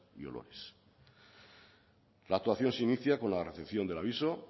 y olores la actuación se inicia con la recepción del aviso